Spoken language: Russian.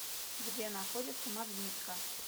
где находится магнитка